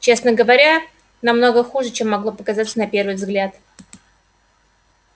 честно говоря намного хуже чем могло показаться на первый взгляд